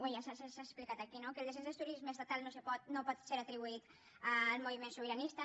ja s’ha explicat aquí no que el descens del turisme estatal no pot ser atribuït al moviment sobiranista